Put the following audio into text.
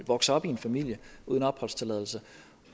vokser op i en familie uden opholdstilladelse